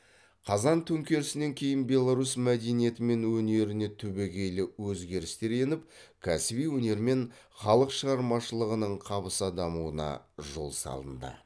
қазан төңкерісінен кейін беларусь мәдениеті мен өнеріне түбегейлі өзгерістер еніп кәсіби өнер мен халық шығармашылығының қабыса дамуына жол салынды